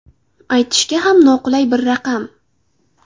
Aytishga ham noqulay bir raqam.